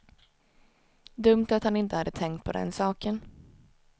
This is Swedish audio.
Dumt att han inte hade tänkt på den saken.